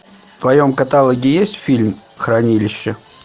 в твоем каталоге есть фильм хранилище